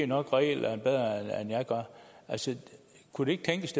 nok reglerne bedre end jeg gør kunne det ikke tænkes